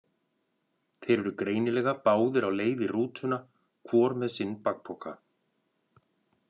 Þeir eru greinilega báðir á leið í rútuna, hvor með sinn bakpoka.